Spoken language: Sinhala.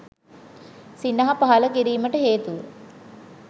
සිනහ පහළ කිරීමට හේතුව